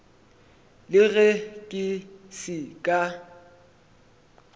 le ge ke se ka